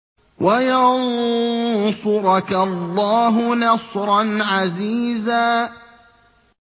وَيَنصُرَكَ اللَّهُ نَصْرًا عَزِيزًا